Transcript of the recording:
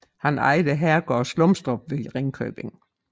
Han ejede herregården Slumstrup ved Ringkøbing